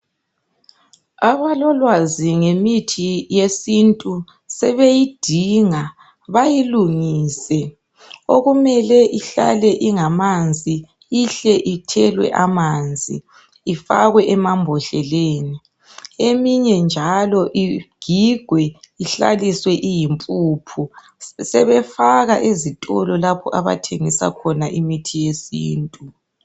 Abalolwazi ngemithi yesintu sebeyidinga bayilungise, okumele ihlale ingamanzi, ihle ithelwe amanzi ihlale emambhodleleni eyinye njalo i gigwe ihlale iyimpuphu sebeyfaka ezitolo lapha okuthengiswa khona imithi.